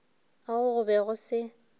ao go be go se